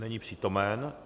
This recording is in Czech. Není přítomen.